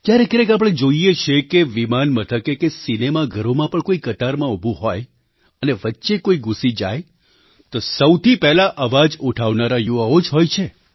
ક્યારેક ક્યારેક આપણે જોઈએ છીએ કે વિમાન મથકે કે સિનેમા ઘરોમાં પણ કોઈ કતારમાં ઊભું હોય અને વચ્ચે કોઈ ઘૂસી જાય તો સૌથી પહેલાં અવાજ ઉઠાવનારા યુવાઓ જ હોય છે